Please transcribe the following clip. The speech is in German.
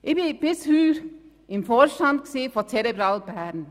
Bis heute war ich im Vorstand von Cerebral Bern.